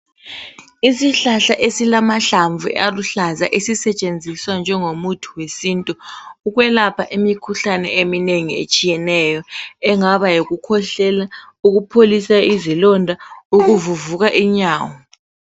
Isihlahla esilamahlamvu aluhlaza esisetshenziswa njengo muthi wesintu ukwelapha imikhuhlane eminengi etshiyeneyo, engaba yikukhwehlela ,ukupholisa izilonda, ukuvuvuka inyawo.